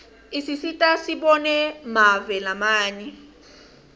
isisita sibone mave lamanye